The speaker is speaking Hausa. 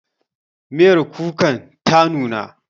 Miyar kukan ta nuna